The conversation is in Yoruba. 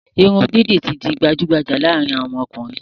Irun didi ti di gbajugbaja laarin awon okunrin